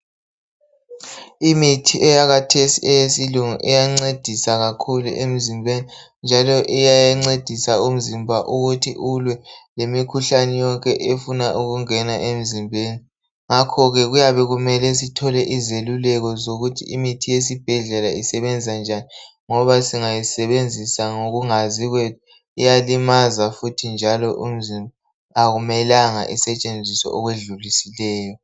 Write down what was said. Imithi eyakathesi eyesintu iyancedisa kakhulu emzimbeni njalo iyancedisa umzimba ulwe lemikhuhlane yonke efuna ukungena emzimbeni ngakho ke kuyabe kumele sithole izeluleko zokuthi imithi yesibhedlela isebenza njani, ngoba singayisebenzisa ngokungazi kwethu iyalimaza futhi njalo umzimba akumelanga isetshenziswe okwedlulisileyo.